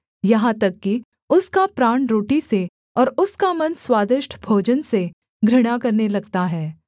यहाँ तक कि उसका प्राण रोटी से और उसका मन स्वादिष्ट भोजन से घृणा करने लगता है